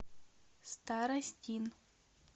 старостин